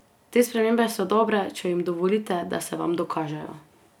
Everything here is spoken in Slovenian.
Te spremembe so dobre, če jim dovolite, da se vam dokažejo.